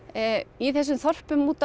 í þessum þorpum úti á